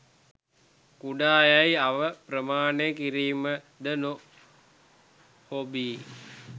කුඩා යැයි අව ප්‍රමාණය කිරීම ද නො හොබී